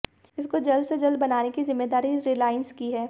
इसको जल्द से जल्द बनाने की जिम्मेदारी रिलायंस की है